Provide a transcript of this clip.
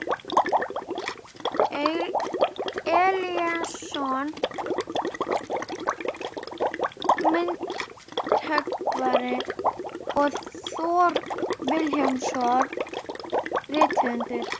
Elíasson myndhöggvari og Thor Vilhjálmsson rithöfundur.